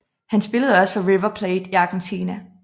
Han spillede også for River Plate i Argentina